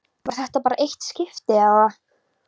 Var þetta bara eitt skipti, eða.